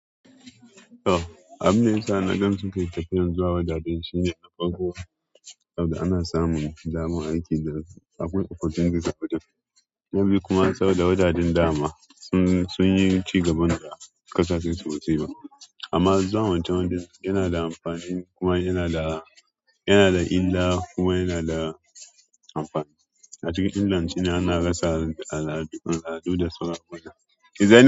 Abun da yasa na gan suke tafiyan zuwa wajajen shine na farko saboda ana samun damar aikin da akwai opportunity gadan. Na biyu kuma saboda wajajen dama sun yi cigaban da ƙasashen su wasu. Amma zuwan wancen wajen yana da amfani kuma yana da, yana da illa kuma yana da amfani. A cikin Ingilandi ana rasa al'adu, al'adu da su rabona.